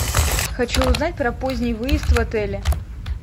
хочу узнать про поздний выезд в отеле